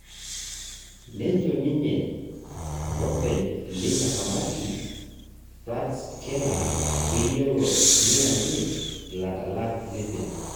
nejo ninye olepeny leina kamati Fritz Keller keyiolo nianyit iladalak lempira